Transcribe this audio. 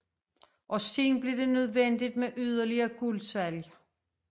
Og senere blev det nødvendigt med yderligere guldsalg